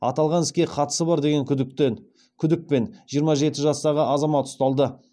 аталған іске қатысы бар деген күдікпен жиырма жеті жастағы азамат ұсталды